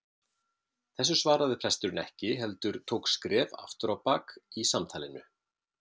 Þessu svaraði presturinn ekki heldur tók skref aftur á bak í samtalinu.